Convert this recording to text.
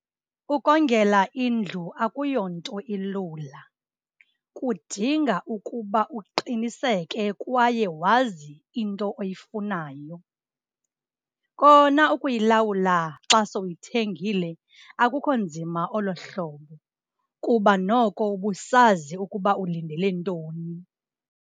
Ukongela indlu akuyonto ilula, kudinga ukuba uqiniseke kwaye wazi into oyifunayo. Kona ukuyilawula xa sowuyithengile akukho nzima olohlobo kuba noko ubusazi ukuba ulindele ntoni.